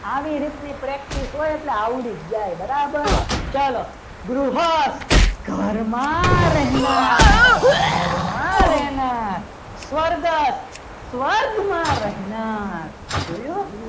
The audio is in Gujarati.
આવી રીતની practice હોય એટલે આવડી જાય બરાબર ચાલો ગૃહસ્થ ઘરમાં રહેનાર ઘરમાં રહેનાર સ્વર્ગસ્થ સ્વર્ગમાં રહેનાર જોયું.